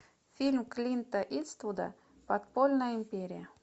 фильм клинта иствуда подпольная империя